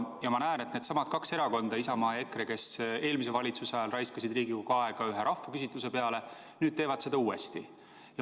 Ja ma näen, et needsamad kaks erakonda – Isamaa ja EKRE –, kes eelmise valitsuse ajal raiskasid Riigikogu aega ühe rahvaküsitluse peale, nüüd teevad seda uuesti.